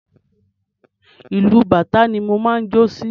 Ìlù bàtá ni mo máa ń jó sí.